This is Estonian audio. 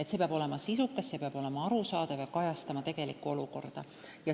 Plaan peab olema sisukas, see peab olema arusaadav ja kajastama tegelikku olukorda.